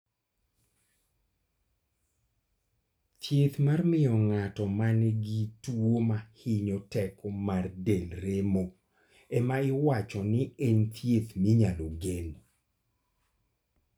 . Thiedh mar mio ng'ato manigi tuo mahinyo teko mar del remo ema iwacho ni e thiedh minyalo gen